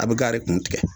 A bɛ gari kun tigɛ